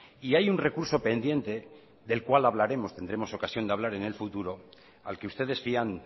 y hay un recurso pendiente del cual hablaremos tendremos ocasión de hablar en el futuro al que ustedes fían